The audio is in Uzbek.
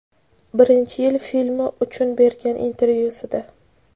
Birinchi yil filmi uchun bergan intervyusida.